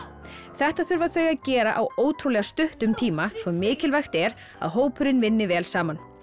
þetta þurfa þau að gera á ótrúlega stuttum tíma svo mikilvægt er að hópurinn vinni vel saman